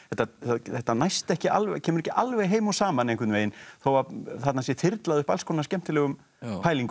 þetta næst ekki alveg kemur ekki alveg heim og saman einhvern veginn þó að þarna sé þyrlað upp alls konar skemmtilegum pælingum og